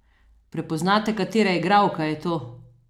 Prepoznate katera igralka je to?